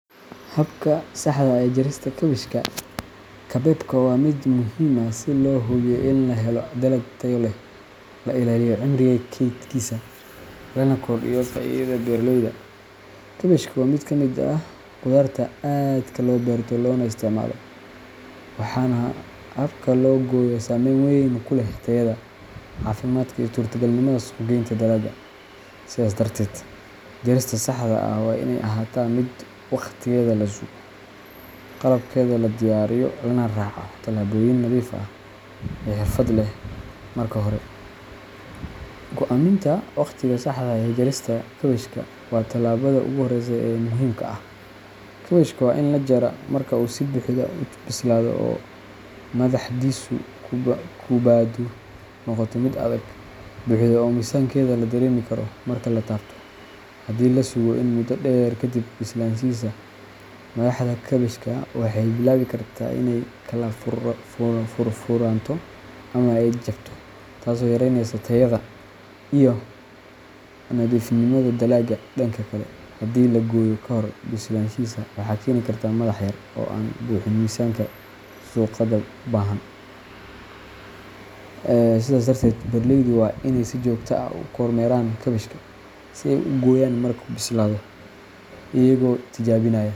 Habka saxda ah ee jarista kaabashka kabeebka waa mid muhiim ah si loo hubiyo in la helo dalag tayo leh, la ilaaliyo cimriga kaydkiisa, lana kordhiyo faa’iidada beeraleyda. Kaabashka waa mid ka mid ah qudaarta aadka loo beerto loona isticmaalo, waxaana habka loo gooyo saameyn weyn ku leh tayada, caafimaadka, iyo suurtagalnimada suuq-geynta dalagga. Sidaas darteed, jarista saxda ah waa inay ahaataa mid waqtigeeda la sugo, qalabkeeda la diyaariyo, lana raaco tallaabooyin nadiif iyo xirfad leh. Marka hore, go'aaminta waqtiga saxda ah ee jarista kaabashka waa tallaabada ugu horreysa ee muhiimka ah. Kaabashka waa in la jaraa marka uu si buuxda u bislaado oo madaxdiisu kubbaddu noqoto mid adag, buuxda, oo miisaankeeda la dareemi karo marka la taabto. Haddii la sugo in muddo dheer kadib bislaanshihiisa, madaxda kaabashka waxay bilaabi kartaa inay kala furfuranto ama ay jabto, taasoo yareyneysa tayada iyo nadiifnimada dalagga. Dhanka kale, haddii la gooyo ka hor bislaanshihiisa, waxay keeni kartaa madax yaryar oo aan buuxin miisaanka suuqyada u baahan. Sidaas darteed, beeraleydu waa inay si joogto ah u kormeeraan kaabashka si ay u gooyaan markuu bislaado, iyagoo tijaabinaya.